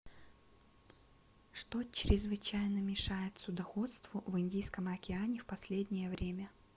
что чрезвычайно мешает судоходству в индийском океане в последнее время